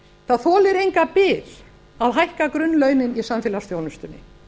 það þolir enga bið að hækka grunnlaunin í samfélagsþjónustunni